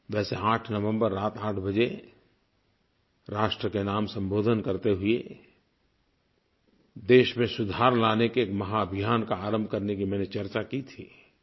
वैसे 8 नवम्बर रात 8 बजे राष्ट्र के नाम संबोधन करते हुए देश में सुधार लाने के एक महाभियान का आरम्भ करने की मैंने चर्चा की थी